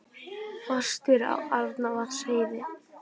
Fastir á Arnarvatnsheiði